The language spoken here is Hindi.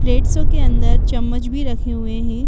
प्लेट्सों के अंदर चम्मच भी रखे हुए हैं।